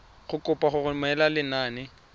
go kopa go romela lenane